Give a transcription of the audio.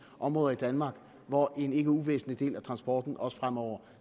områder i danmark hvor en ikke uvæsentlig del af transporten også fremover